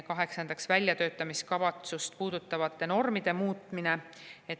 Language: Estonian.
Kaheksandaks, väljatöötamiskavatsust puudutavate normide muutmine.